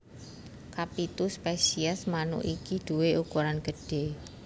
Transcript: Kapitu spesies manuk iki duwé ukuran gedhé